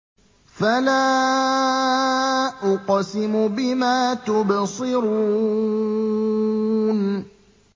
فَلَا أُقْسِمُ بِمَا تُبْصِرُونَ